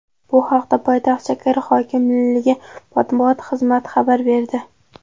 Bu haqda poytaxt shahar hokimligi matbuot xizmati xabar berdi .